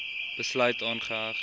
besluit aangeheg